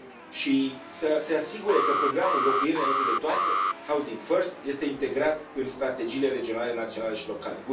și să se asigure că programul Locuințe înainte de toate este integrat în strategiile regionale, naționale și locale.